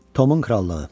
Tomun krallığı.